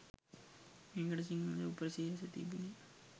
මේකට සිංහල උපසිරැසි තිබුනේ